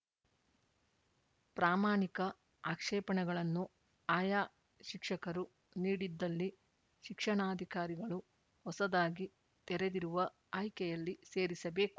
ಪ್ರಾಮಾಣಿಕ ಆಕ್ಷೇಪಣೆಗಳನ್ನು ಆಯಾ ಶಿಕ್ಷಕರು ನೀಡಿದ್ದಲ್ಲಿ ಶಿಕ್ಷಣಾಧಿಕಾರಿಗಳು ಹೊಸದಾಗಿ ತೆರೆದಿರುವ ಆಯ್ಕೆಯಲ್ಲಿ ಸೇರಿಸಬೇಕು